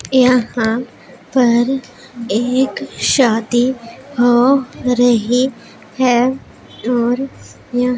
यहां पर एक शादी हो रहीं हैं और यहां--